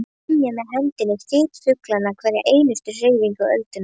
Skynja með henni þyt fuglanna og hverja einustu hreyfingu öldunnar.